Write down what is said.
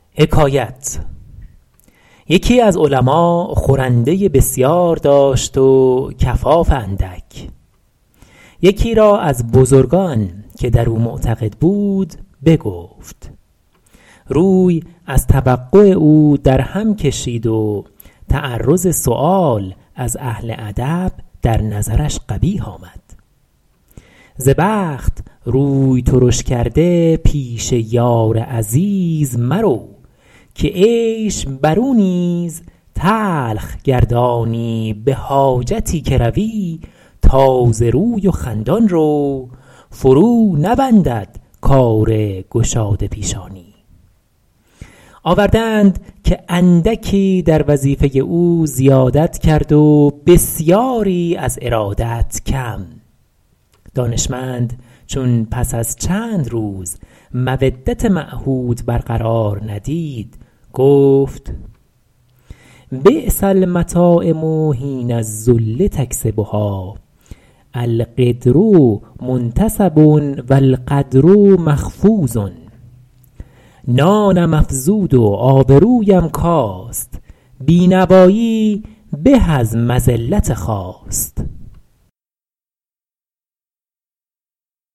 یکی از علما خورنده بسیار داشت و کفاف اندک یکی را از بزرگان که در او معتقد بود بگفت روی از توقع او در هم کشید و تعرض سؤال از اهل ادب در نظرش قبیح آمد ز بخت روی ترش کرده پیش یار عزیز مرو که عیش بر او نیز تلخ گردانی به حاجتی که روی تازه روی و خندان رو فرو نبندد کار گشاده پیشانی آورده اند که اندکی در وظیفه او زیادت کرد و بسیاری از ارادت کم دانشمند چون پس از چند روز مودت معهود بر قرار ندید گفت بیس المطاعم حین الذل یکسبها القدر منتصب و القدر مخفوض نانم افزود و آبرویم کاست بینوایی به از مذلت خواست